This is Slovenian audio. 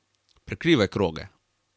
Prekrivaj kroge.